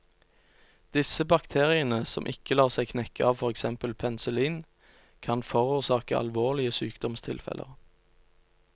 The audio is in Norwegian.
Disse bakteriene, som ikke lar seg knekke av for eksempel penicillin, kan forårsake alvorlige sykdomstilfeller.